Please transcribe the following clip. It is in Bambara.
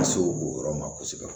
Ka se o yɔrɔ ma kosɛbɛ